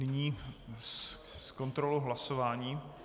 Nyní ke kontrole hlasování.